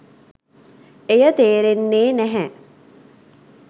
එය තේරෙන්නේ නැහැ.